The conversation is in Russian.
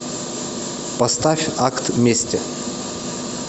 поставь акт мести